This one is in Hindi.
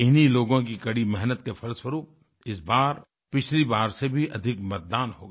इन्हीं लोगों की कड़ी मेहनत के फलस्वरूप इस बार पिछली बार से भी अधिक मतदान हो गया